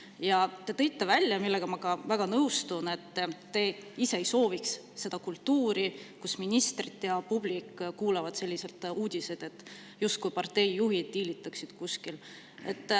Ja te tõite välja, millega ma ka väga nõustun, et te ise ei sooviks sellist kultuuri, kus ministrid ja publik kuulavad uudiseid, justkui parteijuhid diilitaksid kuskil.